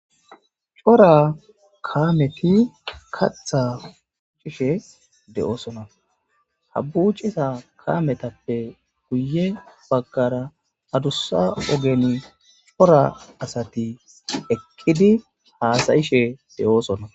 cora kaameti katha fuucishe de7oosona habbucisa kaametappe guye baggara adussa ogeni cora asati ekkidi haasayishe de7oosona